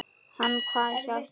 Hann kvað já við því.